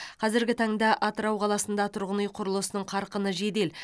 қазіргі таңда атырау қаласында тұрғын үй құрылысының қарқыны жедел